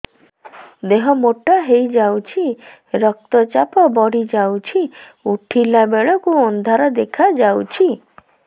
ଦେହ ମୋଟା ହେଇଯାଉଛି ରକ୍ତ ଚାପ ବଢ଼ି ଯାଉଛି ଉଠିଲା ବେଳକୁ ଅନ୍ଧାର ଦେଖା ଯାଉଛି